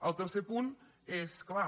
el tercer punt és clar